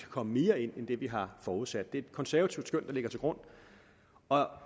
komme mere ind end det vi har forudsat det er et konservativt skøn der ligger til grund og